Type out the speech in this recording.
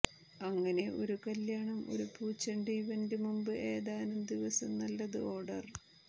അങ്ങനെ ഒരു കല്യാണം ഒരു പൂച്ചെണ്ട് ഇവന്റ് മുമ്പ് ഏതാനും ദിവസം നല്ലത് ഓർഡർ